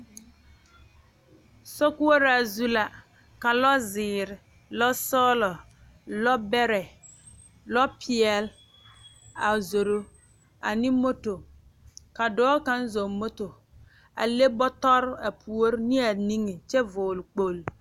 Sokoɔraa zu la ka lɔzeere lɔsɔglɔ lɔbɛrɛ lɔ peɛle a zoro ane mɔto ka dɔɔ kaŋ zɔɔ mɔto a le bɔtɔre a puori ne a niŋe kyɛ vɔgele kpoge